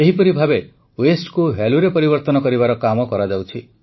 ଏହିପରି ଭାବେ Wasteକୁ Valueଙ୍କରେ ପରିବର୍ତ୍ତନ କରିବାର କାମ କରାଯାଉଛି